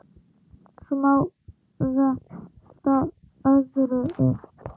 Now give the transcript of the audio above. Svo má velta öðru upp.